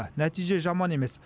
нәтиже жаман емес